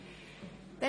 – Das ist der Fall.